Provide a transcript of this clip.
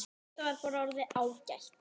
Þetta var bara orðið ágætt.